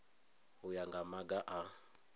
u ya nga maga a